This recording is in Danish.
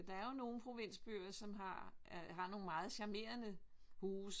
Der er jo nogle provinsbyer som har har nogle meget charmerende huse